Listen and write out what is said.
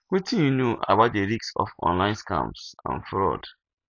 wetin you know about di risks of online scams and fraud